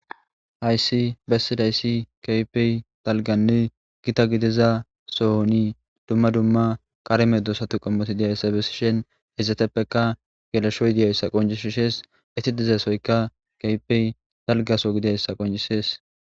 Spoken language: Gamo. hayssi bessidayssi kapey talganni gita gidiza sohoni dumma dumma qareme doosatu qommoti diyayssa besishen hizateppeka gelesho y diyayssa qoncishishees iti dizasoyka kaypey dalgaso gidiyayssa qoncishees